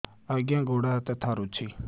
ଆଜ୍ଞା ଗୋଡ଼ ହାତ ଥରୁଛି